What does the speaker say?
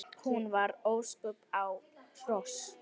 Hún var óspör á hrós.